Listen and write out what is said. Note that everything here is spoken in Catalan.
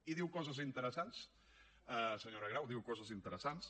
i diu coses interessants senyora grau diu coses interessants